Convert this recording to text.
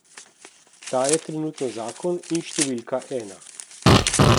Ta je trenutno zakon in številka ena.